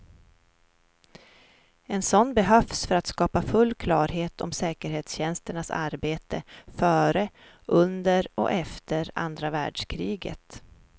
En sådan behövs för att skapa full klarhet om säkerhetstjänsternas arbete före, under och efter andra världskriget.